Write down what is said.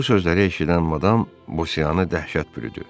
Bu sözləri eşidən madam Bosianı dəhşət bürüdü.